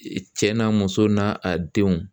Cɛ n'a muso n'a a denw